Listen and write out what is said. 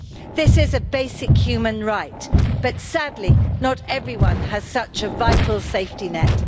This is a basic human right, but sadly, not everyone has such a vital safety net.